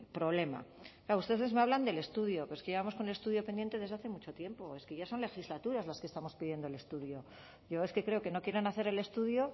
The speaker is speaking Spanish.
problema claro ustedes me hablan del estudio pero es que llevamos con el estudio pendiente desde hace mucho tiempo es que ya son legislaturas las que estamos pidiendo el estudio yo es que creo que no quieren hacer el estudio